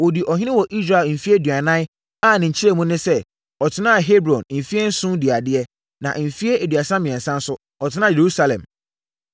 Ɔdii ɔhene wɔ Israel mfeɛ aduanan a ne nkyerɛmu ne sɛ, ɔtenaa Hebron mfeɛ nson dii adeɛ, na mfeɛ aduasa mmiɛnsa nso, ɔtenaa Yerusalem.